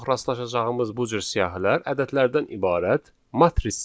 Ən çox rastlaşacağımız bu cür siyahılar ədədlərdən ibarət matrislərdir.